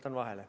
Jätan vahele.